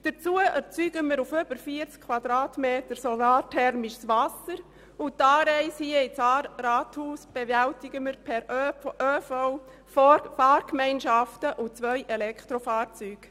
Zudem erzeugen wir auf über 40 Quadratmetern solarthermisches Wasser, und die Anreise hierher ins Rathaus bewältigen wir per ÖV, Fahrgemeinschaften und mit zwei Elektrofahrzeugen.